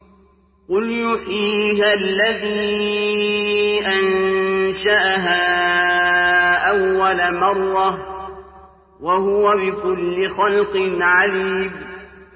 قُلْ يُحْيِيهَا الَّذِي أَنشَأَهَا أَوَّلَ مَرَّةٍ ۖ وَهُوَ بِكُلِّ خَلْقٍ عَلِيمٌ